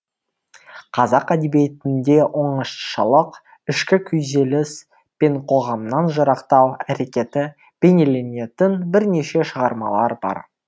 қазақ әдебиетінде оңашалық ішкі күйзеліс пен қоғамнан жырақтау әрекеті бейнеленетін бірнеше шығармалар бар